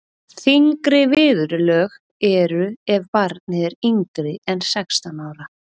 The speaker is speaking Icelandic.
þyngri viðurlög eru ef barnið er yngra en sextán ára